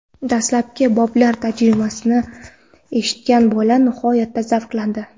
Dastlabki boblar tarjimasini eshitgan bola nihoyatda zavqlandi.